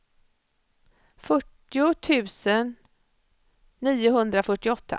fyrtio tusen niohundrafyrtioåtta